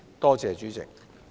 多謝主席。